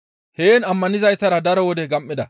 Heen ammanizaytara daro wode gam7ida.